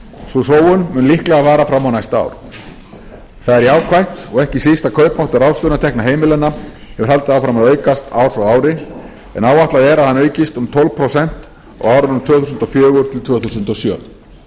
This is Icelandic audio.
sú þróun mun líklega vara fram á næsta ár það er jákvætt og ekki síst að kaupmáttur ráðstöfunartekna heimilanna hefur haldið áfram að aukast ár frá ári en áætlað er að hann aukist um tólf prósent á árunum tvö þúsund og fjögur til tvö þúsund og sjö